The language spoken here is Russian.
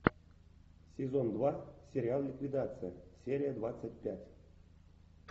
сезон два сериал ликвидация серия двадцать пять